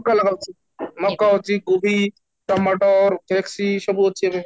ମକା ଲଗାଉଛୁ ମକା ଅଛି କୋବି ସବୁ ଅଛି ଏବେ